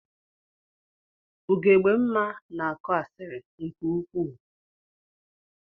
Ugogbemma na-akọ asịrị nke ukwuu.